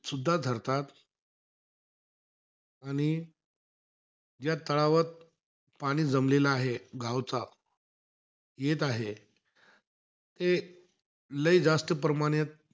सुद्धा धरतात. आणि ज्या तळावर पाणी जमलेला आहे गावचा, येत आहे. ते लई जास्त प्रमाणात,